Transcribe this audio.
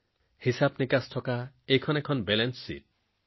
এই কিতাপখনত হিচাপনিকাচ আছে এই কিতাপখন এক প্ৰকাৰৰ বেলেন্স শ্বীট